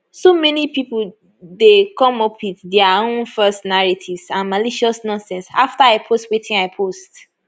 so many pipo dey come up wit dia own false narratives and malicious nonsense afta i post wetin wetin i post